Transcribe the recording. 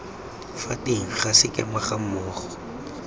fa teng ga sekema gammogo